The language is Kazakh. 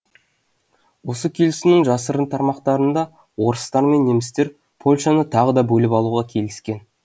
осы келісімнің жасырын тармақтарында орыстар мен немістер польшаны тағы да бөліп алуға келіскен